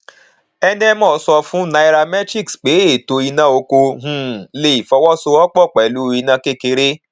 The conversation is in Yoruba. enemoh sọ fún naira metrics pé ètò iná oko um le fọwọsowọpọ pẹlú iná kékeré